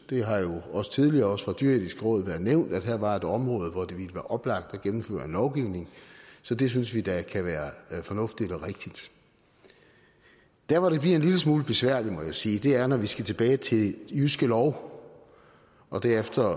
har jo også tidligere fra det dyreetiske råd været nævnt at der her var et område hvor det ville oplagt at gennemføre en lovgivning så det synes vi da kan være fornuftigt og rigtigt der hvor det bliver en lille smule besværligt må jeg sige er når vi skal tilbage til jyske lov og derefter